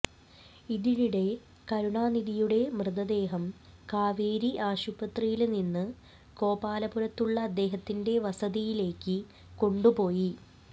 ഇതിനിടെ കരുണാനിധിയുടെ മൃതദേഹം കാവേരി ആശുപത്രിയില് നിന്ന് ഗോപാലപുരത്തുള്ള അദ്ദേഹത്തിന്റെ വസതിയിലേക്ക് കൊണ്ടുപോയി